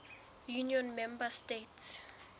union member states